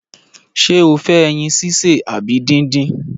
Ṣé o fẹ ẹyin sise abi dindin?